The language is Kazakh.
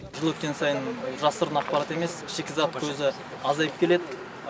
жыл өткен сайын бұл жасырын ақпарат емес шикізат көзі азайып келеді